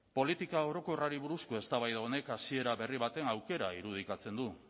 politika orokorrari buruzko eztabaida honek hasiera berri baten aukera irudikatzen du